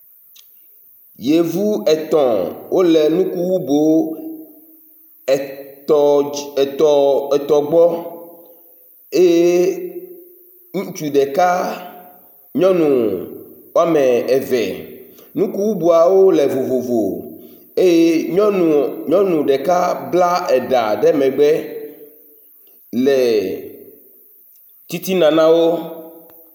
yevu etɔ̃ wóle nukuwubó etɔ̃ gbɔ eye nutsu ɖeka nyɔnu wɔm evɛ nukuboawo le vovovo eye nyɔnu ɖeka bla eɖà ɖe megbe hele tsitsina nawo